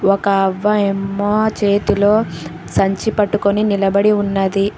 ఒక అవ్వాయమ్మ చేతిలో సంచి పట్టుకొని నిలబడి ఉన్నది.